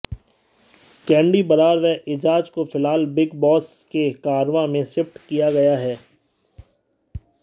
candy Brar और एजाज को फिल्हाल बिग बॉस के कारवां में शिफ्ट किया गया है